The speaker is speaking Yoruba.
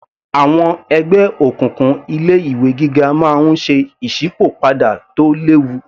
Àwọn ẹgbẹ́ òkùnkùn ilé ìwé gíga máa ń ṣe ìsípò padà tó léwu